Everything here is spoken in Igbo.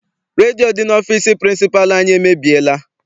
Redio dị n'ọfịịsi pịrịnsịpalụ anyị emebiela.